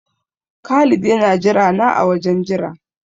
Khalid yana jirana a wajen jira.